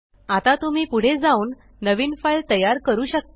आता तुम्ही पुढे जाऊन नवीन फाइल तयार करू शकता